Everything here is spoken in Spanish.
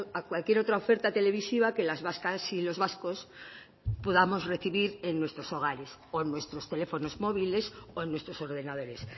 a cualquier otra oferta televisiva que las vascas y los vascos podamos recibir en nuestros hogares o en nuestros teléfonos móviles o en nuestros ordenadores